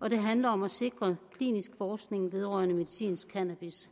og det handler om at sikre klinisk forskning vedrørende medicinsk cannabis